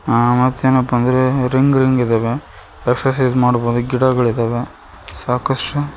ಆ ಮತ್ತೇನಪ್ಪಾ ಅಂದ್ರೆ ರಿಂಗ್ ರಿಂಗ್ ಇದಾವೆ ಎಕ್ಸರ್ಸೈಜ್ ಮಾಡ್ಬೋದು ಗಿಡಗಳಿದವೇ ಸಾಕಷ್ಟು--